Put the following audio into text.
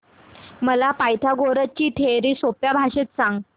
मला पायथागोरस ची थिअरी सोप्या भाषेत सांग